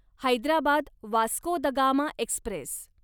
Hyderabad Vasco da Gama Express